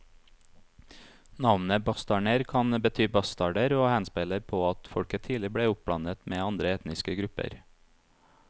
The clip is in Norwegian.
Navnet bastarner kan bety bastarder og henspeiler på at folket tidlig ble oppblandet med andre etniske grupper.